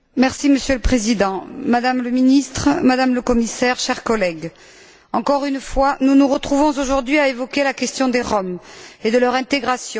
Monsieur le Président, Madame le ministre, Madame le Commissaire, chers collègues, encore une fois, nous nous retrouvons aujourd'hui à évoquer la question des Roms et de leur intégration.